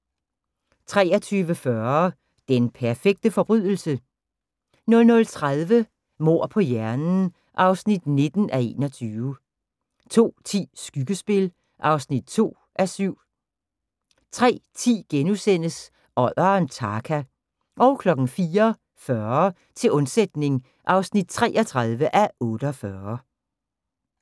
23:40: Den perfekte forbrydelse? 00:30: Mord på hjernen (19:21) 02:10: Skyggespil (2:7) 03:10: Odderen Tarka * 04:40: Til undsætning (33:48)